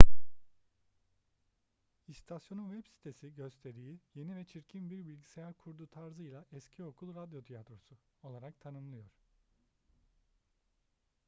i̇stasyonun web sitesi gösteriyi yeni ve çirkin bir bilgisayar kurdu tarzıyla eski okul radyo tiyatrosu! olarak tanımlıyor